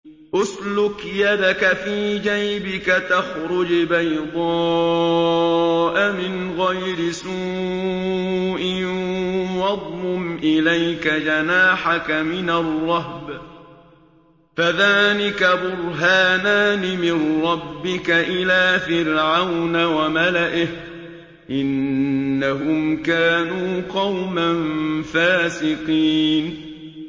اسْلُكْ يَدَكَ فِي جَيْبِكَ تَخْرُجْ بَيْضَاءَ مِنْ غَيْرِ سُوءٍ وَاضْمُمْ إِلَيْكَ جَنَاحَكَ مِنَ الرَّهْبِ ۖ فَذَانِكَ بُرْهَانَانِ مِن رَّبِّكَ إِلَىٰ فِرْعَوْنَ وَمَلَئِهِ ۚ إِنَّهُمْ كَانُوا قَوْمًا فَاسِقِينَ